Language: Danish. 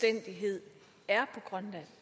at det